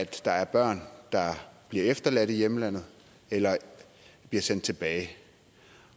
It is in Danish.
der er børn der bliver efterladt i hjemlandet eller bliver sendt tilbage